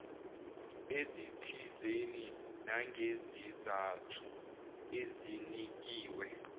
ezithizeni nangezizathu ezinikiwe